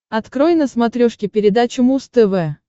открой на смотрешке передачу муз тв